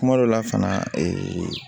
Kuma dɔ la fana